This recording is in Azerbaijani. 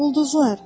Ulduzlar.